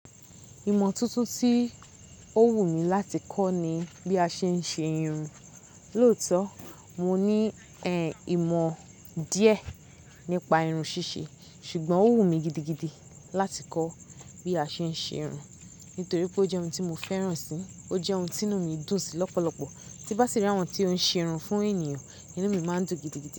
Ìmọ̀ tuntun tí ó wù mí láti kọ́ ni bí a ṣe ń ṣe irun. Lóòótọ́ mo ní ẹ̀ ìmọ̀ díẹ̀ nípa irun ṣíṣe ṣùgbọ́n ó wù mí gidigidi láti kọ́ bí a ṣe ń ṣe irun nítorí pé ó jẹ́ ohun tí mo fẹ́ràn si, ó jẹ́ ohun tí inú mi dùn sí lọ́pọ̀lọpọ̀. Tí bá sì rí àwọn tí ó ń ṣe irun fún ènìyàn, inú mi máa ń dùn gidigidi.